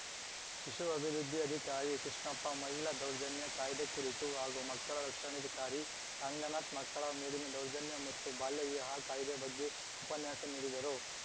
ಶಿಶು ಅಭಿವೃದ್ಧಿ ಅಧಿಕಾರಿ ಕೃಷ್ಣಪ್ಪ ಮಹಿಳಾ ದೌರ್ಜನ್ಯ ಕಾಯ್ದೆ ಕುರಿತು ಹಾಗೂ ಮಕ್ಕಳ ರಕ್ಷಣಾಧಿಕಾರಿ ಅಂಗನಾಥ್‌ ಮಕ್ಕಳ ಮೇಲಿನ ದೌರ್ಜನ್ಯ ಮತ್ತು ಬಾಲ್ಯ ವಿವಾಹ ಕಾಯ್ದೆ ಬಗ್ಗೆ ಉಪನ್ಯಾಸ ನೀಡಿದರು